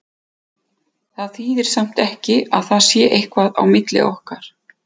Það þýðir samt ekki að það sé eitthvað á milli okkar.